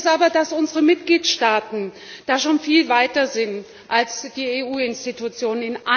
Erschreckend ist aber, dass unsere Mitgliedstaaten da schon viel weiter sind als die EU Institutionen.